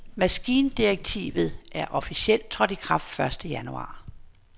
Maskindirektivet er officielt trådt i kraft første januar.